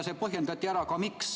See põhjendati ka ära, miks.